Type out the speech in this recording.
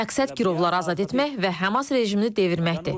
Məqsəd girovları azad etmək və Həmas rejimini devirməkdir.